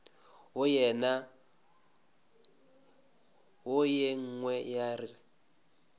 wo ye nngwe ya re